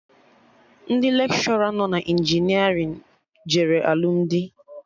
Ndị lekshọra nọ na injinerịn jere alụmdi